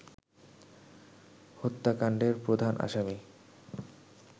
হত্যাকাণ্ডের প্রধান আসামি